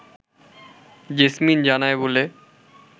jasmine জানায় বলে